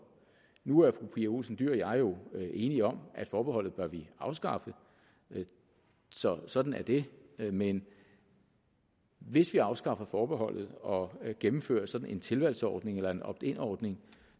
nu er fru pia olsen dyhr og jeg jo enige om at forbeholdet bør vi afskaffe sådan sådan er det men hvis vi afskaffer forbeholdet og gennemfører en sådan tilvalgsordning eller en opt in ordning